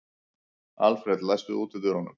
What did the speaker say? Alfred, læstu útidyrunum.